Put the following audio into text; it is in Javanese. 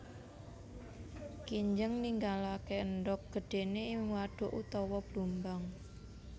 Kinjeng ninggalaké endhog gedhéné ing wadhuk utawa blumbang